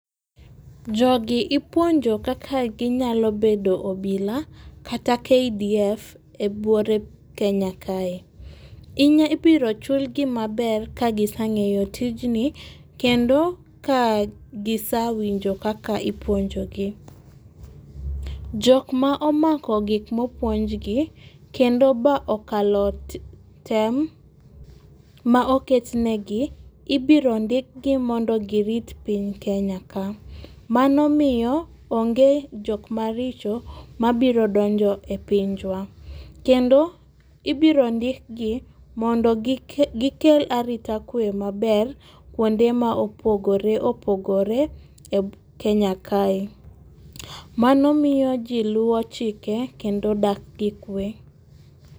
Jogi ipuonjo kaka ginyalo bedo obila kata KDF e bwore Kenya kae. Ibiro chulgi maber kagise ng'eyo tijni kendo ka gisewinjo kaka ipuonjogi. Jok ma omako gik mopuonjgi kendo ba okalo tem maoket negi ibiro ndikgi mondo girit piny Kenya ka mano miyo onge jok maricho mabiro donjo e pinywa kendo ibiro ndikgi mondo gikel arita kwe maber kuonde ma opogore opogore obwo Kenya kae. Mano miyo ji luwo chike kendo dak gikwe.